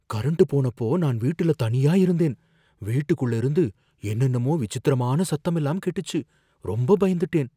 current போனப்போ நான் வீட்டுல தனியா இருந்தேன், வீட்டுக்குள்ள இருந்து என்னென்னமோ விசித்திரமான சத்தமெல்லாம் கேட்டுச்சு, ரொம்ப பயந்துட்டேன்